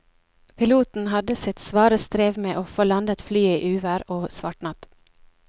Piloten hadde sitt svare strev med å få landet flyet i uvær og svart natt.